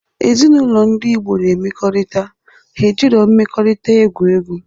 Ezinaụlọ ndi Igbo na emekorita, ha ejiro mmeekorita egwu egwu.